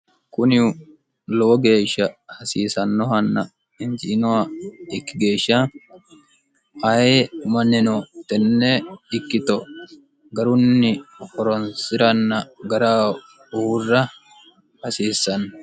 kuni lowo geeshsha hasiisannohanna hinciinoha ikki geeshsha hayi umanni no tenne ikkito garunni horonsi'ranna gara uurra hasiisanno